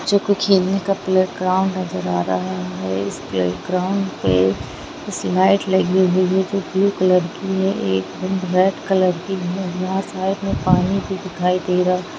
मुझे एक खेलने का प्लेग्राउंड नजर आ रहा हैं उसे प्ले ग्राउंड पे स्लाइड लगी हुई हैं जो ब्लू कलर की है एक रेड कलर की हैं एक ब्लू कलर की हैं।